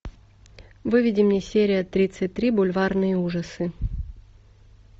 выведи мне серия тридцать три бульварные ужасы